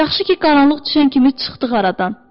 Yaxşı ki, qaranlıq düşən kimi çıxdıq aradan.